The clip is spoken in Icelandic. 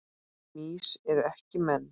Mýs eru ekki menn